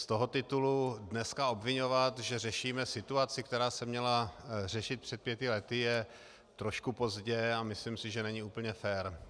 Z toho titulu dneska obviňovat, že řešíme situaci, která se měla řešit před pěti lety, je trošku pozdě a myslím si, že není úplně fér.